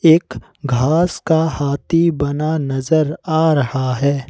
एक घास का हाथी बना नजर आ रहा है।